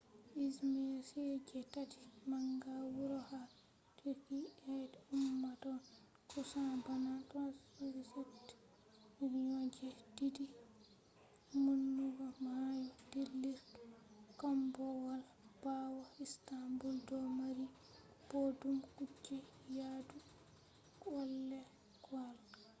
izmir on je tati manga wuro ha turkey be ummatore kusan bana 3.7 million je didi maunugo mayo dillurki kombowal bawo istanbul do mari boddum kuje yadu kwalekwale